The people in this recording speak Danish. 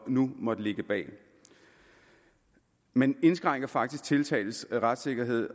nu måtte ligge bag man indskrænker faktisk tiltaltes retssikkerhed